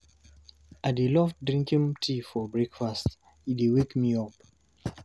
I dey love drinking tea for breakfast, e dey wake me up.